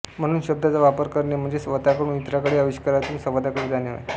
म्हणून शब्दांचा वापर करणे म्हणजे स्वतःकडून इतरांकडे आविष्कारातून संवादाकडे जाणे होय